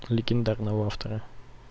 легендарного автора